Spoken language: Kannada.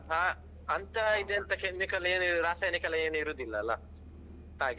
ಆ ಅಂತ ಇದ್ ಎಂತ chemical ಏನು ರಾಸಾಯನಿಕ ಏನು ಇರುದಿಲ್ಲ ಅಲ್ಲ ಹಾಗೆ.